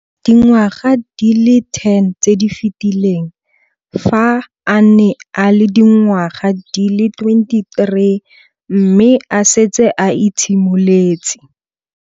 Dingwaga di le 10 tse di fetileng, fa a ne a le dingwaga di le 23 mme a setse a itshimoletse.